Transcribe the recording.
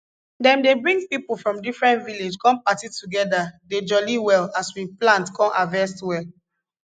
dem dey bring pipo from different village come party together dey jolly well as we plant con harvest well